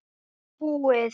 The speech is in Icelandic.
Búið!